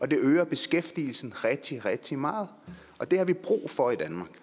det øger beskæftigelsen rigtig rigtig meget og det har vi brug for i danmark